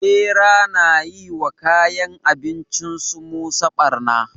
Bera na yi wa kayan abincinsu musa barna